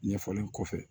Ɲɛfɔlen kɔfɛ